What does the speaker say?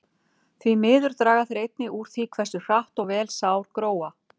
Því miður draga þeir einnig úr því hversu hratt og vel sár gróa.